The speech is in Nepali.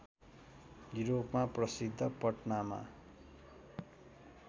युरोपमा प्रसिद्ध पटनामा